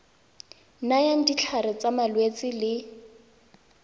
nayang ditlhare tsa malwetse le